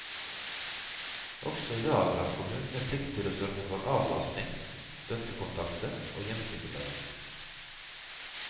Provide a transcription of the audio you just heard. Også i dag har kommunene plikt til å sørge for avlastning, støttekontakter og hjemmesykepleie.